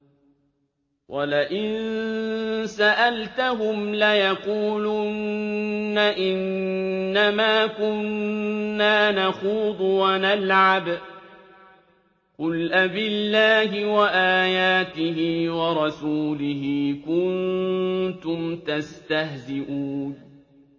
وَلَئِن سَأَلْتَهُمْ لَيَقُولُنَّ إِنَّمَا كُنَّا نَخُوضُ وَنَلْعَبُ ۚ قُلْ أَبِاللَّهِ وَآيَاتِهِ وَرَسُولِهِ كُنتُمْ تَسْتَهْزِئُونَ